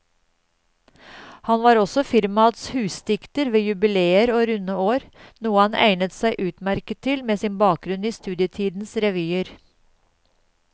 Han var også firmaets husdikter ved jubileer og runde år, noe han egnet seg utmerket til med sin bakgrunn i studietidens revyer.